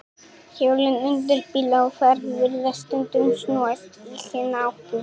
Hjólin undir bíl á ferð virðast stundum snúast í hina áttina.